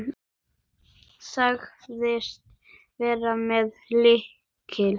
Sagðist vera með lykil.